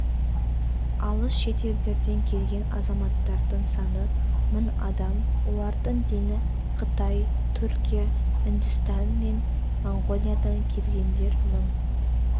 алыс шетелдерден келген азаматтардың саны мың адам олардың дені қытай түркия үндістан мен моңғолиядан келгендер мың